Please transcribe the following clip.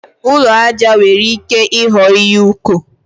Ụlọ aja nwere ike ịghọ ihe ụkọ.